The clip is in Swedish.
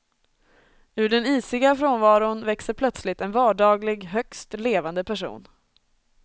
Ur den isiga frånvaron växer plötsligt en vardaglig, högst levande person.